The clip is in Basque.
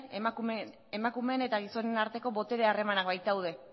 emakumeen eta gizonen arteko botere harremanak baitaude